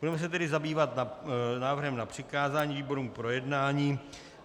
Budeme se tedy zabývat návrhem na přikázání výborům k projednání.